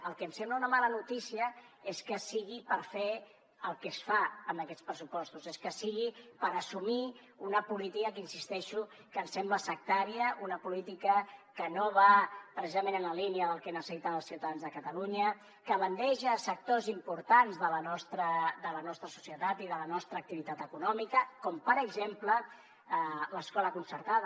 el que em sembla una mala notícia és que sigui per fer el que es fa amb aquests pressupostos és que sigui per assumir una política que insisteixo que em sembla sectària una política que no va precisament en la línia del que necessiten els ciutadans de catalunya que bandeja sectors importants de la nostra societat i de la nostra activitat econòmica com per exemple l’escola concertada